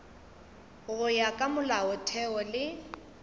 go ya ka molaotheo le